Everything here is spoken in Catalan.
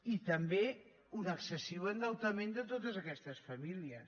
i també un excessiu endeutament de totes aquestes famílies